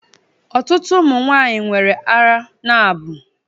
Ọtụtụ ụmụ nwanyị nwere árá n'abọ